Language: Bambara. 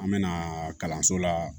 An mɛna kalanso la